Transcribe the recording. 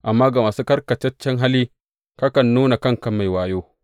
Amma ga masu karkataccen hali, kakan nuna kanka mai wayo.